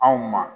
Anw ma